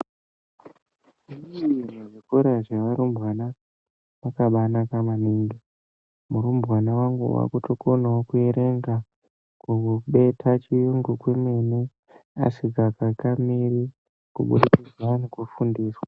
Zvikora zvevarumbwana zvakabanaka maningi, murumbwana wangu wakutokonawo kuerenga, kubeta chiyungu kwemene asikakakamiri, kubudikidza nekufundiswa.